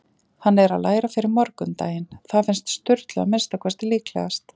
Hann er að læra fyrir morgundaginn- það finnst Sturlu að minnsta kosti líklegast.